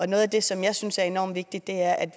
noget af det som jeg synes er enormt vigtigt er